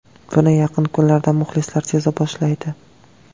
Buni yaqin kunlarda muxlislar seza boshlaydi.